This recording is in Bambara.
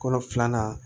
Kolo filanan